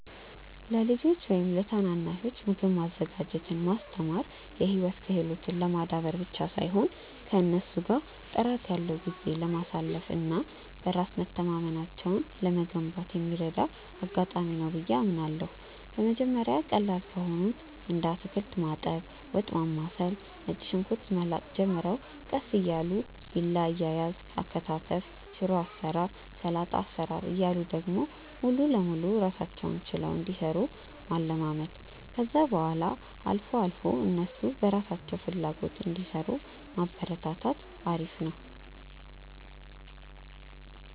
ለልጆች ወይም ለታናናሾች ምግብ ማዘጋጀትን ማስተማር የህይወት ክህሎትን ለማዳበር ብቻ ሳይሆን ከእነሱ ጋር ጥራት ያለው ጊዜ ለማሳለፍ እና በራስ መተማመናቸውን ለመገንባት የሚረዳ አጋጣሚ ነው ብዬ አምናለሁ። በመጀመሪያ ቀላል ከሆኑት እንደ አታክልት ማጠብ፣ ወጥ ማማሰል፣ ነጭ ሽንኩርት መላጥ ጀምረው ቀስ እያሉ ቢላ አያያዝ፣ አከታተፍ፣ ሽሮ አሰራር፣ ሰላጣ አሰራር እያሉ ደግሞ ሙሉ ለሙሉ ራሳቸውን ችለው እንዲሰሩ ማለማመድ፣ ከዛ በኋላ አልፎ አልፎ እነሱ በራሳቸው ፍላጎት እንዲሰሩ ማበረታታት አሪፍ ነው።